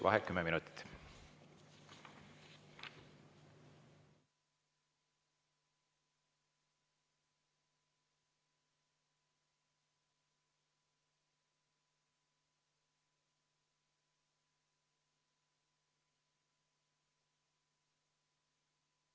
Vaheaeg 10 minutit.